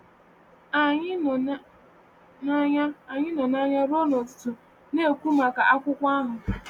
Anyị nọ n’anya Anyị nọ n’anya ruo ụtụtụ na-ekwu maka akwụkwọ ahụ.